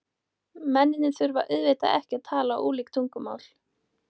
Mennirnir þurfa auðvitað ekki að tala ólík tungumál.